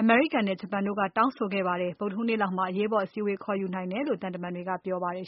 အမေရိကန်နဲ့ ဂျပန်တို့က တောင်းဆိုခဲ့ပါတယ်။ ဗုဒ္ဓဟူးနေ့လောက်မှာ အရေးပေါ်စည်းဝေးပွဲ လုပ်နိုင်တယ်လို့ သံတမန်တွေက ပြောပါတယ်